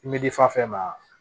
I bɛ di fa fɛn fɛn ma